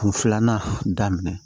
Kun filanan daminɛ